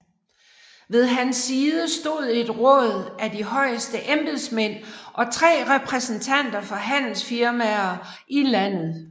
Ved hans side stod et råd af de højeste embedsmænd og tre repræsentanter for handelsfirmaer i landet